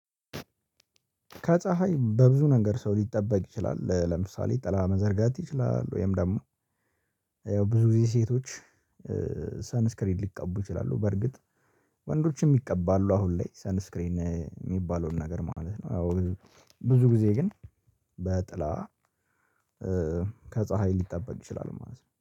ከፀሀይ በብዙ ነገር ሰው ሊጠበቅ ይችላል። ለምሳሌ ጥላ መዘርጋት ይችላል ወይም ደግሞ ያው ብዙ ጊዜ ሴቶች ሳንስክሪድ ሊቀቡ ይችላሉ። በርግጥ ወንዶችም ይቀባሉ አሁን ላይ ሳንስክሪን የሚባለውን ነገር ማለት ነው። አዎ ብዙ ጊዜ ግን በጥላ ከፀሀይ ሊጠበቅ ይችላል። ማለት ነው